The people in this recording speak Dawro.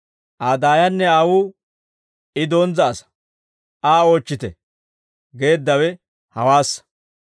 Aa daayanne aawuu, «I donzza asaa; Aa oochchite!» geeddawe hawaassa.